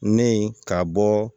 Ne ye ka bɔ